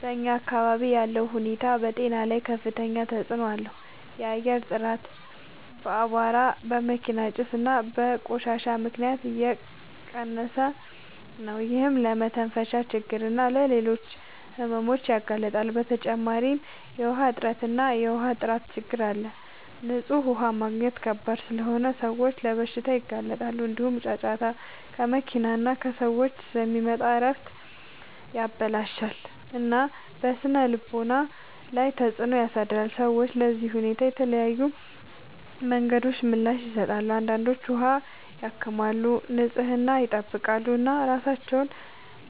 በአካባቢያችን ያለው ሁኔታ በጤና ላይ ከፍተኛ ተጽዕኖ አለው። የአየር ጥራት በአቧራ፣ በመኪና ጭስ እና በቆሻሻ ምክንያት እየቀነሰ ነው፤ ይህም ለመተንፈሻ ችግኝ እና ለሌሎች ሕመሞች ያጋልጣል። በተጨማሪ የውሃ እጥረት እና የውሃ ጥራት ችግኝ አለ፤ ንጹህ ውሃ ማግኘት ከባድ ስለሆነ ሰዎች ለበሽታዎች ይጋለጣሉ። እንዲሁም ጫጫታ ከመኪና እና ከሰዎች ስለሚመጣ እረፍትን ያበላሽታል እና በስነ-ልቦና ላይ ተጽዕኖ ያሳድራል። ሰዎች ለዚህ ሁኔታ በተለያዩ መንገዶች ምላሽ ይሰጣሉ። አንዳንዶች ውሃ ያከማቻሉ፣ ንጽህናን ይጠብቃሉ እና ራሳቸውን